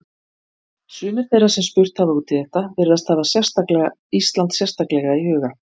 Sumir þeirra sem spurt hafa út í þetta virðast hafa Ísland sérstaklega í huga.